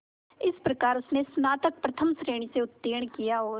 इस प्रकार उसने स्नातक प्रथम श्रेणी से उत्तीर्ण किया और